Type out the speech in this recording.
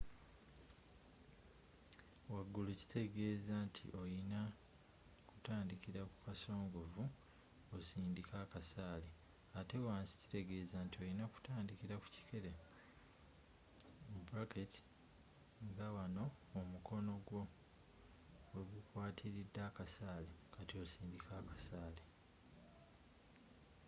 wagulu kitegeeza nti olina kutandikira ku kasongovu osindikke akasaale ate wansi kitegeeza nti olina kutandikira ku kikere nga wano omukono gwo we gukwatiridde akasaale kati osike akasaale